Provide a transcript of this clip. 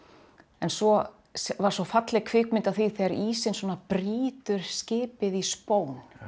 en svo var svo falleg kvikmynd af því þegar ísinn brýtur skipið í spón